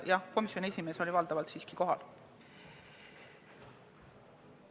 Jah, komisjoni esimees oli valdavalt siiski kohal.